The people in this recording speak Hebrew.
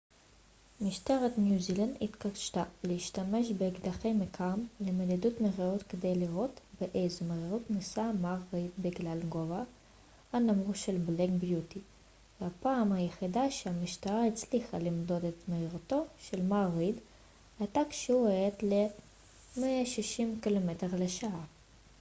משטרת ניו זילנד התקשתה להשתמש באקדחי מכ ם למדידת מהירות כדי לראות באיזו מהירות נסע מר ריד בגלל גובהה הנמוך של בלאק ביוטי והפעם היחידה שהמשטרה הצליחה למדוד את מהירותו של מר ריד הייתה כשהוא האט ל-160 קמ ש